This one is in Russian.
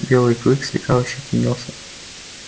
белый клык слегка ощетинился